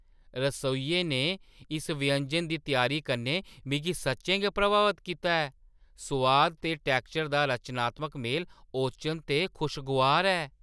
रसोइये ने इस व्यंजन दी त्यारी कन्नै मिगी सच्चें गै प्रभावत कीता ऐ; सोआद ते टैक्सचर दा रचनात्मक मेल ओचन ते खुशगोआर ऐ।